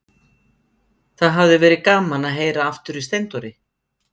Það hafði verið gaman að heyra aftur í Steindóri.